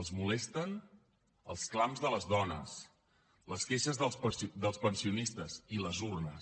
els molesten els clams de les dones les queixes dels pensionistes i les urnes